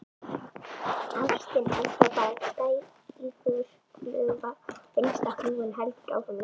Ástin er þá bara dægurfluga og einstaklingurinn heldur áfram leitinni.